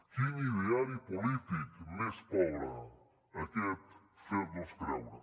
quin ideari polític més pobre aquest fer nos creure